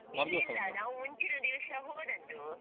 ನಾವು ಮುಂಚಿನ ದಿವ್ಸ ಹೋದದ್ದು.